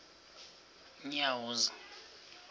unyawuza